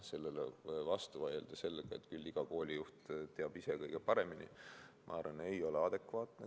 Sellele vastu vaielda sellega, et küll iga koolijuht teab ise kõige paremini, ma arvan, ei ole adekvaatne.